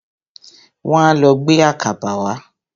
Wọ́n á lọ gbé àkàbà wá.